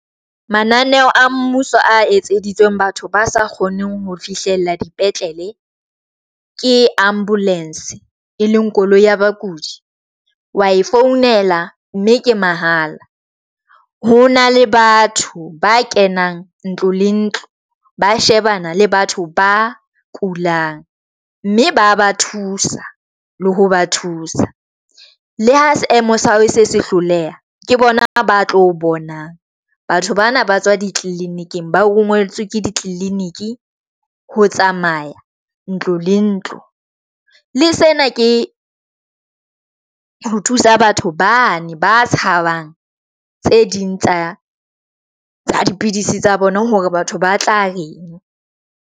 Mananeo a mmuso a etseditsweng batho ba sa kgoneng ho fihlella dipetlele ke ambulance e leng koloi ya bakudi, wa e founela mme ke mahala. Ho na le batho ba kenang ntlo le ntlo, ba shebana le batho ba kulang mme ba ba thusa le ho ba thusa. Le ha seemo sa hao e se se hloleha. Ke bona ba tlo o bonang. Batho bana ba tswa ditliliniki ba rongweletswe ke ditliliniki ho tsamaya ntlo le ntlo. Le sena ke ho thusa batho bane ba tshabang tse ding tsa dipidisi tsa bona hore batho ba tla reng.